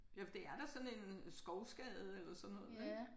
Jo for det er da sådan en skovskade eller sådan noget ik